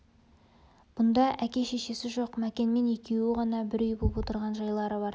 бұнда әке-шешесі жоқ мәкенмен екеуі ғана бір үй боп отырған жайлары бар